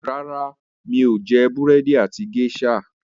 ràrá mi'o jé Búrẹ́di àti geisha.